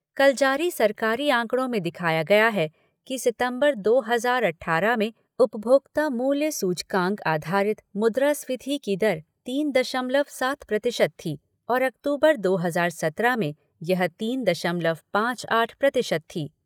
कल जारी सरकारी आंकड़ों में दिखाया गया है कि सितम्बर दो हज़ार अट्ठारह में उपभोक्ता मूल्य सूचकांक आधारित मुद्रास्फीति की दर तीन दशमलव सात प्रतिशत थी और अक्तूबर दो हज़ार सत्रह में यह तीन दशमलव पाँच आठ प्रतिशत थी।